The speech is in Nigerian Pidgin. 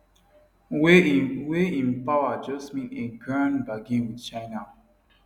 wey im wey im power just mean a grand bargain wit china